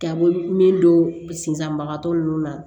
Taabolo min don sisanbagatɔ ninnu na